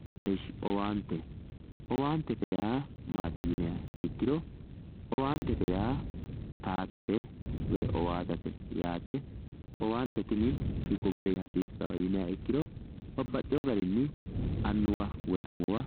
Owaante owaantete yaa maati yiniha ikkiro owaantete yaa towaattate woyi owaatate yaate owaante tini hiikko garinni hasiisano yiniha ikkiro babbaxewo garinni annuwa woyi amuwa.